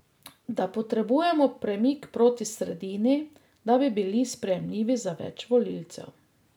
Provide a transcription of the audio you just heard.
Da potrebujemo premik proti sredini, da bi bili sprejemljivi za več volivcev.